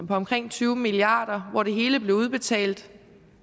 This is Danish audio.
på omkring tyve milliard kr hvor det hele blev udbetalt